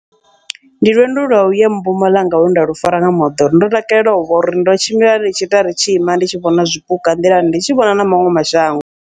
Ndi lwendo lwa uya Mpumalanga lwe ndalu fara nga moḓoro, ndo takalela uvha uri ndo tshimbila ndi tshi ita ri tshi ima ndi tshi vhona zwipuka nḓilani, ndi tshi vhona na maṅwe mashango.